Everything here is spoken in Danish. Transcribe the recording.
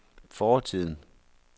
fortiden